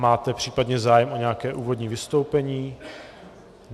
Máte případně zájem o nějaké úvodní vystoupení?